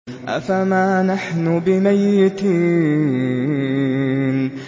أَفَمَا نَحْنُ بِمَيِّتِينَ